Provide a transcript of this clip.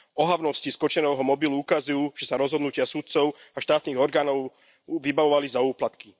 Ohavnosti z Kočnerovho mobilu ukazujú, že sa rozhodnutia sudcov a štátnych orgánov vybavovali za úplatky.